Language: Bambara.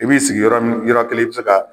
I b'i sigi yɔrɔ min yɔrɔ kelen i bɛ se ka